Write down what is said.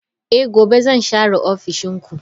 Eh gobe zan share ofishin ku.